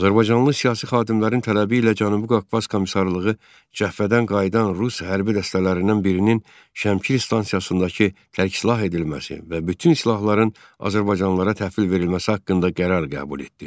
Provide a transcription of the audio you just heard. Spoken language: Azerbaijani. Azərbaycanlı siyasi xadimlərin tələbi ilə Cənubi Qafqaz Komissarlığı cəbhədən qayıdan rus hərbi dəstələrindən birinin Şəmkir stansiyasındakı tərksilah edilməsi və bütün silahların azərbaycanlılara təhvil verilməsi haqqında qərar qəbul etdi.